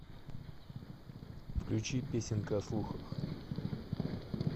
включи песенка о слухах